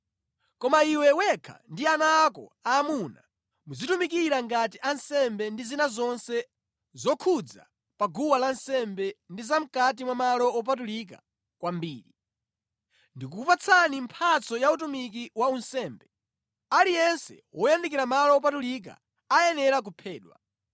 Koma iwe wekha ndi ana ako aamuna muzitumikira ngati ansembe ndi zina zonse zokhudza pa guwa lansembe ndi za mʼkati mwa malo wopatulika kwambiri. Ndikukupatsani mphatso ya utumiki wa unsembe. Aliyense woyandikira malo wopatulika ayenera kuphedwa.